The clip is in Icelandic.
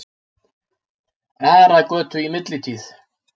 Aragötu í millitíð.